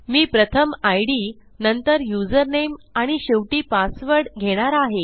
मी प्रथम इद नंतर यूझर नामे आणि शेवटी पासवर्ड घेणार आहे